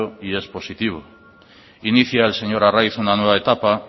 y es positivo inicia el señor arraiz una nueva etapa